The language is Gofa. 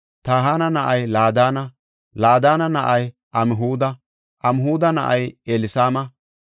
Tahana na7ay Laadana; Laadana na7ay Amhuda; Amhuda na7ay Elsama;